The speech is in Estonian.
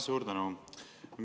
Suur tänu!